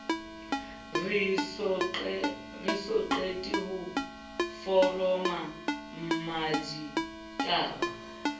re soqete ho foroma mmaditaba